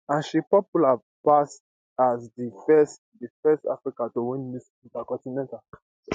and she popular pass as di first di first african to win miss intercontinental